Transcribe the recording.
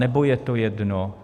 Nebo je to jedno?